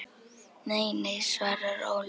Nei, nei svarar Ólöf.